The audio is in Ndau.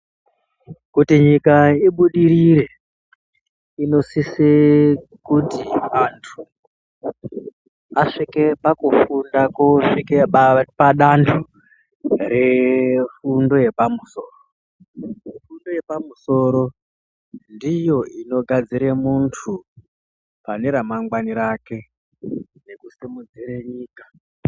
Kuti nyika ibudirire inosise kuti antu asvike pakufunda kosvike padanho refundo yepamusoro. Fundo yepamusoro ndiyo inogadzire muntu pane ramangwani rake nekusimudzire nyika.